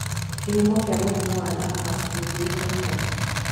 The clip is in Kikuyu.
Kĩhumo kĩa mũrimũ wa lupus gĩtiũĩkaine.